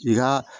I ka